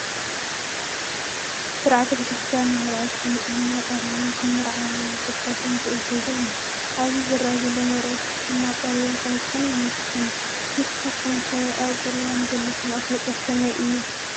ብስርዓተ ቤተ ክርስትያን መርዑት ብንፅህና ቆሪቦም ክምርዓው ዝፍቀድን ዝእዘዝን እዩ፡፡ ኣብዚ ዝራኣዩ ዘለው መርዑት ድማ ቆሪቦም ከምዝኾኑ የመልክተና፡፡ ንስኻትኩም ከ ኣብ ቁርባን ዘለኩም ኣፍልጦ ከመይ እዩ?